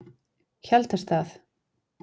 Hjaltastað